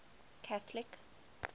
catholic